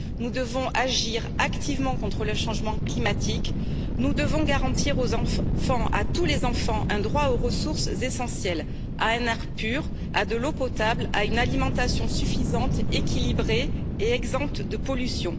Nous devons agir activement contre le changement climatique et garantir aux enfants, à tous les enfants, un droit aux ressources essentielles à un air pur, à de l'eau potable, à une alimentation suffisante, équilibrée et exempte de pollution.